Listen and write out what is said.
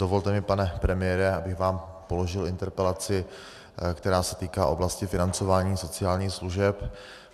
Dovolte mi, pane premiére, abych vám položil interpelaci, která se týká oblasti financování sociálních služeb.